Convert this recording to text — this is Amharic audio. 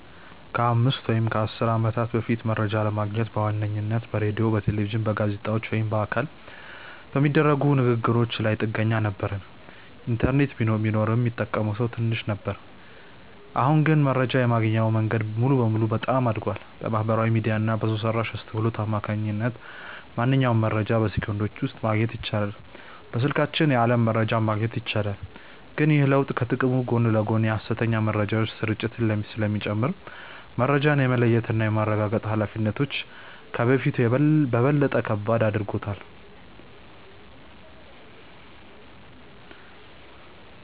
ከአምስት ወይም ከአሥር ዓመታት በፊት መረጃ ለማግኘት በዋነኝነት በሬዲዮ፣ በቴሌቪዥን፣ በጋዜጦች ወይም በአካል በሚደረጉ ንግ ግሮች ላይ ጥገኛ ነበርን። ኢንተርኔት ቢኖርም ሚጠቀመው ሰው ትንሽ ነበር። አሁን ግን መረጃ የማግኛው መንገድ ሙሉ በሙሉ በጣም አድጓል። በማህበራዊ ሚዲያ እና በሰው ሰራሽ አስውሎት አማካኝነት ማንኛውንም መረጃ በሰከንዶች ውስጥ ማግኘት ይቻላል። በስልካችን የዓለም መረጃን ማግኘት ይቻላል። ግን ይህ ለውጥ ከጥቅሙ ጎን ለጎን የሐሰተኛ መረጃዎች ስርጭትን ስለሚጨምር፣ መረጃን የመለየትና የማረጋገጥ ኃላፊነታችንን ከበፊቱ በበለጠ ከባድ አድርጎታል።